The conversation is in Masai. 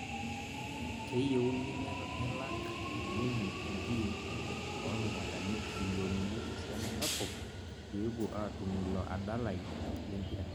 Keyieuni nelak Kibini entim ormkutani milionnini esiana sapuk pepuo atum ilo adalai lempira